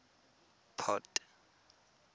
port